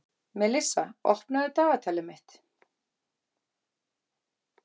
Melissa, opnaðu dagatalið mitt.